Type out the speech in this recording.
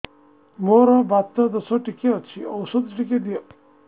ମୋର୍ ବାତ ଦୋଷ ଟିକେ ଅଛି ଔଷଧ ଟିକେ ଦିଅ